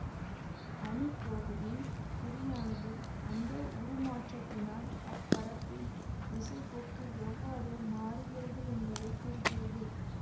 அணிக்கோவையின் குறியானது அந்த உருமாற்றத்தினால் அப்பரப்பின் திசைப்போக்கு எவ்வாறு மாறுகிறது என்பதை குறிக்கிறது